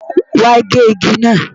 Wàá gé igi náà!